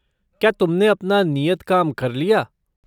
क्या तुमने अपना नियत काम कर लिया?